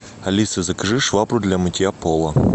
алиса закажи швабру для мытья пола